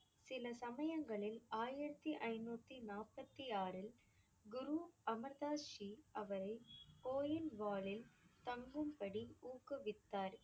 சில சமயங்களில் ஆயிரத்தி ஐந்நூத்தி நாற்பத்தி ஆறில் குரு அமிர் தாஸ் ஜி அவரைக் கோயில் தங்கும்படி ஊக்குவித்தார்.